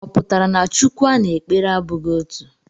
Ọ pụtara na Chukwu a na-ekpere abụghị otu?